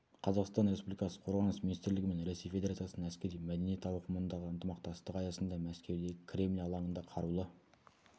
қазақстан республикасы қорғаныс министрлігі мен ресей федерациясының әскери мәдениет ауқымындағы ынтымақтастығы аясында мәскеудегі кремль алаңында қарулы